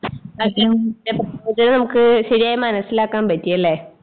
ശരിയായി മനസ്സിലാക്കാൻ പറ്റിയല്ലേ?